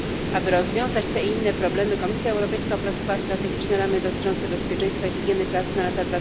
Aby rozwiązać te inne problemy, Komisja Europejska opracowała strategiczne ramy dotyczące bezpieczeństwa i higieny pracy na lata